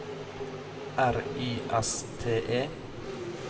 R Y S T E